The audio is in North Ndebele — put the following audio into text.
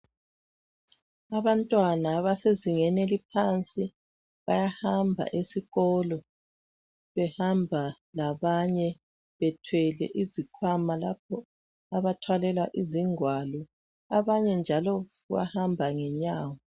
Abantwana abasezingeni eliphansi bayahamba esikolo .Behamba labanye bethwele izikhwama lapho abathwalela izingwalo .Abanye njalo bahamba ngenyawo .